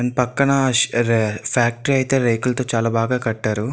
దాని పక్కన అదే ఫ్యాక్టరీ అయితే రేకులతో చాలా బాగా కట్టారు.